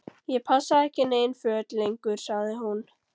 Ég passa ekki í nein föt lengur sagði hún.